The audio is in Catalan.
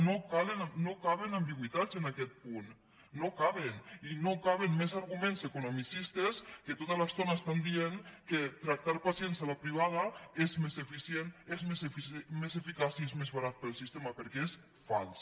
no caben ambigüitats en aquest punt no caben i no caben més arguments economicistes que tota l’estona estan dient que tractar pacients a la privada és més eficient és més eficaç i és més barat per al sistema perquè és fals